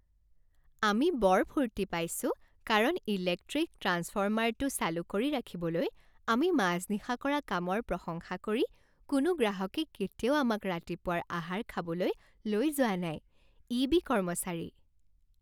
আমি বৰ ফূৰ্তি পাইছো কাৰণ ইলেক্ট্ৰিক ট্ৰান্সফৰ্মাৰটো চালু কৰি ৰাখিবলৈ আমি মাজনিশা কৰা কামৰ প্ৰশংসা কৰি কোনো গ্ৰাহকে কেতিয়াও আমাক ৰাতিপুৱাৰ আহাৰ খাবলৈ লৈ যোৱা নাই। ই বি কৰ্মচাৰী